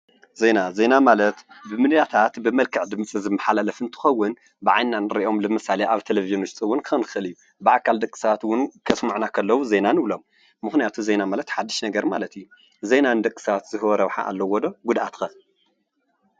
ዜና ዜና ማለት ብሚደያታት ብመልክዕ ድምፂ ዝመሓላለፍ እንትኸውን ብዓይንና እንሪኦም፣ ምሳሌ አብ ቴሌቭዥን ውሽጥ እውን ክኸውን ይኽእል እዩ። ብአካል ደቂ ሰባት እውን ከስሙዑና ከለው ውን ዜና ንብሎ። ምኽንያቱ ዜና ማለት ሓድሽ ነገር ማለት እዩ። ዜና ንወደስብ ዝህቦ ረብሓ አለዎ ዶ ጉደአቱ ከ?